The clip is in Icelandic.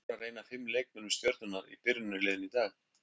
Lára er ein af fimm leikmönnum Stjörnunnar í byrjunarliðinu í dag.